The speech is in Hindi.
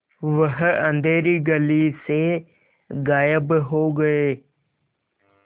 वह अँधेरी गली से गायब हो गए